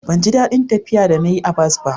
ban ji dadin tafiya da na yi a bas ba